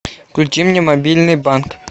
включи мне мобильный банк